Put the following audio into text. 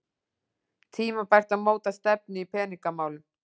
Tímabært að móta stefnu í peningamálum